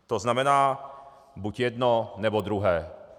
To znamená buď jedno, nebo druhé.